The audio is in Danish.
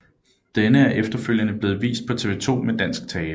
Denne er efterfølgende blevet vist på TV 2 med dansk tale